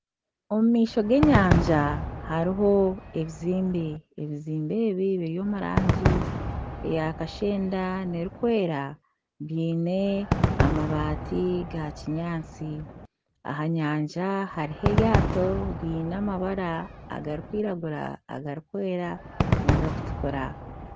Omu maisho g'enyanja hariho ebizimbe, ebizimbe ebi biri omurangi eya kashenda nana erikwera byine amabaati gakinyaatsi aha nyanja hariho eryto riine amabara, agarikwiragura agarikwera nagarikutukura.